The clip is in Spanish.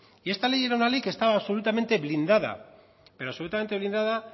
y esta ley era una ley que estaba absolutamente blindada pero absolutamente blindada